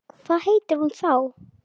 Hvað heitir hún þá?